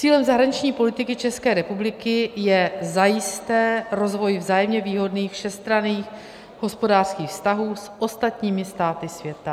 Cílem zahraniční politiky České republiky je zajisté rozvoj vzájemně výhodných všestranných hospodářských vztahů s ostatními státy světa.